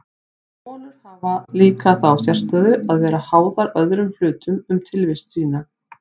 Holur hafa líka þá sérstöðu að vera háðar öðrum hlutum um tilvist sína.